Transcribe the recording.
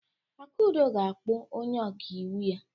Akudo ga-akpọ onye ọkaiwu ya.